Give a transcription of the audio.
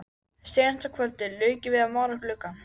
Seinasta kvöldið lauk ég við að mála gluggann.